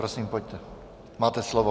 Prosím, pojďte, máte slovo.